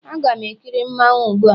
Aga m ekiri mmanwu gbu a